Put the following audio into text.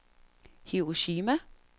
Hiroshima